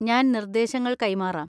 ഞാൻ നിർദ്ദേശങ്ങൾ കൈമാറാം.